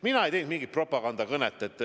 Mina ei pidanud mingit propagandakõnet.